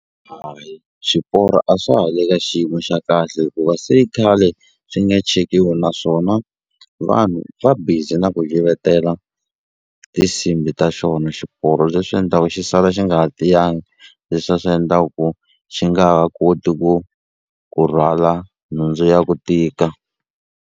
swiporo a swa ha le ka xiyimo xa kahle hikuva se i khale swi nga chekiwi naswona vanhu va busy na ku yivetela tisimbhi ta xona xiporo leswi endlaku xi sala xi nga ha tiyangi le swa swi endlaku ku xi nga ha koti ku ku rhwala nhundzu ya ku tika.